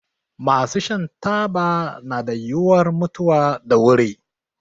Masu shan taba na da yiwuwar mutuwa da wuri.